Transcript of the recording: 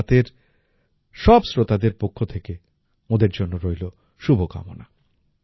মন কি বাতএর সব শ্রোতাদের পক্ষ থেকে ওঁদের জন্য রইল শুভ কামনা